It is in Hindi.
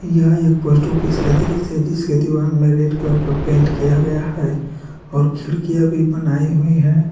यह एक पोस्ट ऑफिस का दृश्य है जिसके दीवार में रेड कलर का पेंट किया गया है और खिड़कियां भी बनाई हुई है।